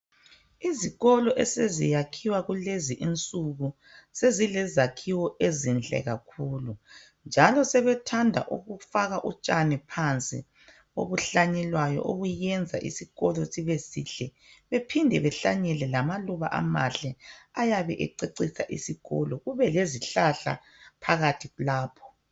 izikolo eseziyakhiwa kulezinsuku sezilezakhiwo ezinhle kakhulu njalo sebethanda ukufaka utshani phansi obuhlanyelwayo okuyenza isikolo sibezinhle kuphindwe kufakwe lamaluba amahle ayabe ececisa isikolo kubelezihlahla phakathi lapha